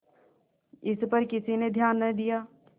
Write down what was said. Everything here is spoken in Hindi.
इस पर किसी ने ध्यान न दिया